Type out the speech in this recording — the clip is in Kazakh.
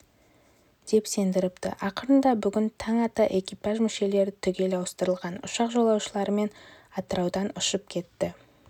деп сендіріпті ақырында бүгін таң ата экипаж мүшелері түгел ауыстырылған ұшақ жолаушыларымен атыраудан ұшып кетті